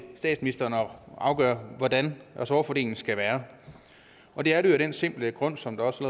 statsministeren at afgøre hvordan ressortfordelingen skal være og det er det jo af den simple grund som der også